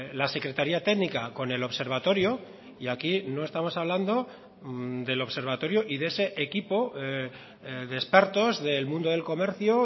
la secretaria técnica con el observatorio y aquí no estamos hablando del observatorio y de ese equipo de expertos del mundo del comercio